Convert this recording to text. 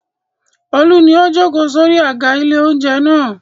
Olú ni ó jókòó sórí àga ilé-oúnjẹ náà.